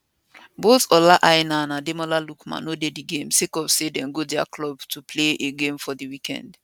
both ola aina and ademola lookman no dey dis game sake of say dem go dia club to play a game for di weekend